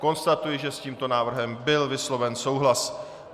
Konstatuji, že s tímto návrhem byl vysloven souhlas.